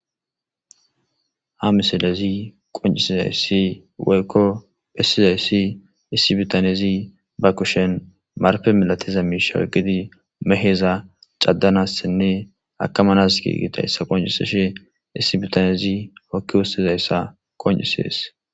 Ha misilezi qoncisizayssi woykko phissizayssi issibitanezi ba kushen marpe milatiza miishawey gidi maheza cadanassinne akamanas giigitayssa qoncisishe issibitanezi hokki wossizayssa qoncisees.